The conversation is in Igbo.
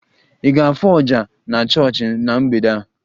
Ị ga-afụ oja na chọọchị na mgbede a?